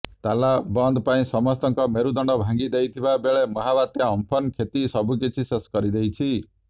ତାଲବନ୍ଦ ପାଇଁ ସମସ୍ତଙ୍କ ମେରୁଦଣ୍ଡ ଭାଙ୍ଗିଦେଇଥିବା ବେଳେ ମହାବାତ୍ୟା ଅମ୍ପନ କ୍ଷତି ସବୁକିଛି ଶେଷ କରିଦେଇଛି